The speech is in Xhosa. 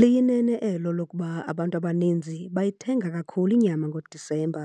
Liyinene elo lokuba abantu abaninzi bayithenga kakhulu inyama ngoDisemba